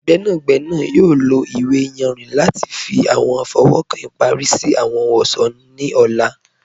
Gbẹnagbẹna yọ̀ lọ iwe ìyànrin lati fi awọn fọwọ́kan ipari si awọn ohun-ọṣọ ni ọ̀là.